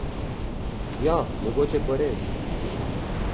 Ja, mogoče pa res.